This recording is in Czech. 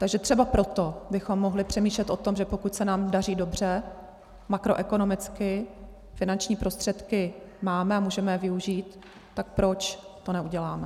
Takže třeba proto bychom mohli přemýšlet o tom, že pokud se nám daří dobře makroekonomicky, finanční prostředky máme a můžeme je využít, tak proč to neuděláme.